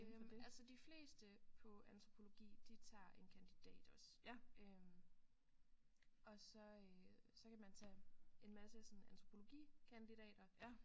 Øh altså de fleste på antropologi de tager en kandidat også øh og så øh så kan man tage en masse sådan antropologikandidater